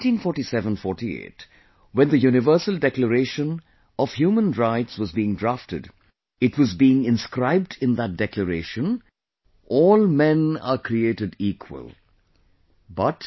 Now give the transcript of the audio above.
In 194748, when the Universal Declaration of UN Human Rights was being drafted, it was being inscribed in that Declaration "All Men are Created Equal"